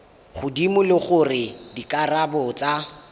godimo le gore dikarabo tsa